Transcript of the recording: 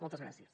moltes gràcies